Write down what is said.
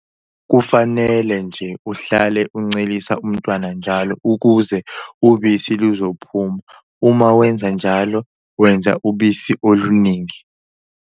Kufanele nje uhlale uncelisa umntwana njalo ukuze ubisi luzophuma - uma wenza njalo wenza ubisi oluningi.